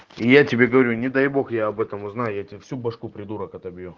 я тебе говорю не дай бог я об этом узнаю я тебе всю башку придурок отобью